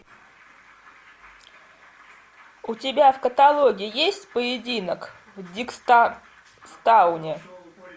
у тебя в каталоге есть поединок в диггстауне